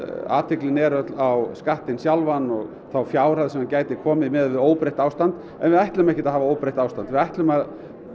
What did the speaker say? athyglin er öll á skattinn sjálfan og þá fjárhæð sem gæti komið til miðað við óbreytt ástand við ætlum ekki að hafa óbreytt ástand við ætlum að